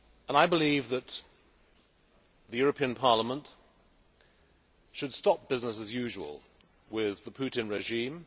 I believe that the European Parliament should stop business as usual' with the Putin regime.